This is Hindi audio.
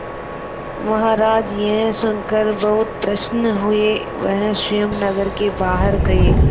महाराज यह सुनकर बहुत प्रसन्न हुए वह स्वयं नगर के बाहर गए